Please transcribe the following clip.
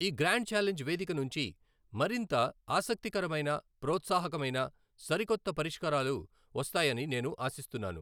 ఈ grand challenge వేదిక నుంచి మరింత ఆసక్తికరమైన, ప్రోత్సాహకమైన సరికొత్త పరిష్కారాలు వస్తాయని నేను ఆశిస్తున్నాను.